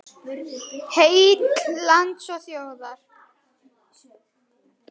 Heill lands og þjóðar.